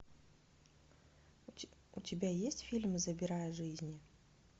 у тебя есть фильм забирая жизни